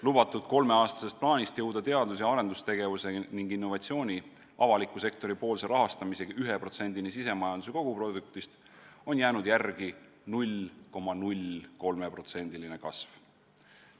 Lubatud kolmeaastasest plaanist jõuda teadus- ja arendustegevuse ning innovatsiooni avaliku sektori poolse rahastamisega 1%-ni sisemajanduse koguproduktist on jäänud järele 0,03%-line kasv.